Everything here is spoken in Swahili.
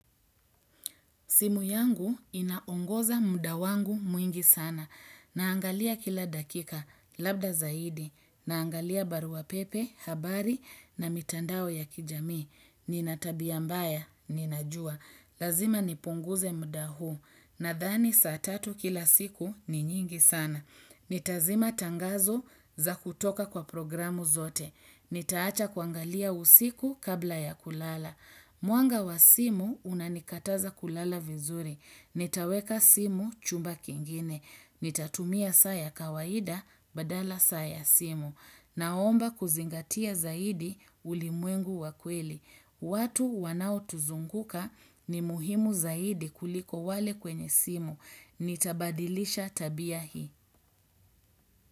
Simu yangu inaongoza muda wangu mwingi sana. Naangalia kila dakika, labda zaidi. Naangalia barua pepe, habari na mitandao ya kijami. Nina tabia mbaya, ninajua. Lazima nipunguze muda huu. Nadhani saa tatu kila siku ni nyingi sana. Nitazima tangazo za kutoka kwa programu zote. Nitaacha kuangalia usiku kabla ya kulala. Mwanga wa simu unanikataza kulala vizuri. Nitaweka simu chumba kingine. Nitatumia saa ya kawaida badala saa ya simu. Naomba kuzingatia zaidi ulimwengu wa kweli. Watu wanaotuzunguka ni muhimu zaidi kuliko wale kwenye simu. Nitabadilisha tabia hii.